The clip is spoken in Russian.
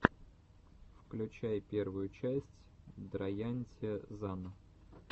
включай первую часть драянте зан